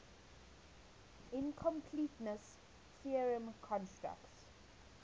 incompleteness theorem constructs